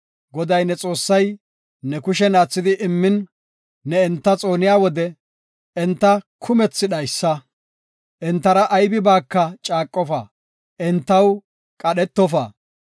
Goday ne Xoossay ne kushen aathidi immin, ne enta xooniya wode, enta kumethi dhaysa. Entara aybibaaka caaqofa; entaw qadhetofa.